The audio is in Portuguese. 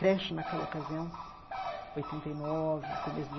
Creche, naquela ocasião, oitenta e nove, começo de